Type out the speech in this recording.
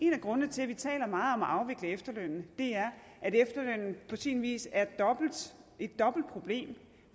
en af grundene til at vi taler meget om at afvikle efterlønnen er at efterlønnen på sin vis er et dobbelt problem